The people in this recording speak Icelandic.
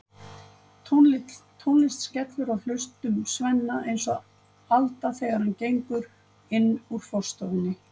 Tónlist skellur á hlustum Svenna eins og alda þegar hann gengur inn úr forstofunni.